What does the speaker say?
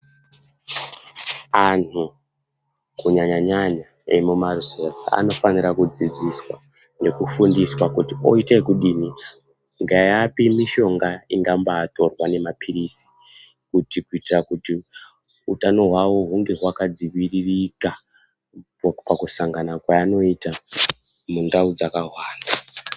Anhu kunyanya-nyanya emumaruzevha, anofanira kudzidziswa, nekufundiswa kuti oite ekudini, ngeapi mishonga ingambaatorwa nemaphirizi, kuti kuitira kuti ,utano hwavo ,hunge hwakadziviririka popakusangana kweanoita mundau dzakahwara.